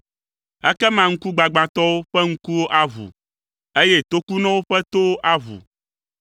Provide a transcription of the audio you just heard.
Ekema ŋkugbagbãtɔwo ƒe ŋkuwo aʋu, eye tokunɔwo ƒe towo aʋu.